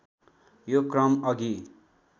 यो क्रम अघि